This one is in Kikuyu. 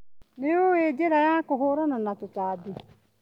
Nĩũĩ njĩra ya kũhũrana na tũtambi.